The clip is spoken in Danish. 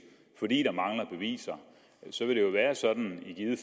fordi der mangler beviser så vil det jo være sådan i givet